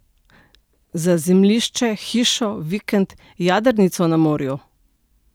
Za zemljišče, hišo, vikend, jadrnico na morju?